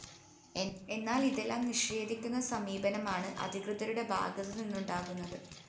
എന്നാല്‍ ഇതെല്ലാം നിഷേധിക്കുന്ന സമീപനമാണ് അധികൃതരുടെ ഭാഗത്ത് നിന്നുണ്ടാകുന്നത്